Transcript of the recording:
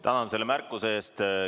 Tänan selle märkuse eest!